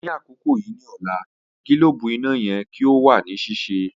Ni akoko yii ni ọla, gilobu ina yẹ ki o wa ni sise.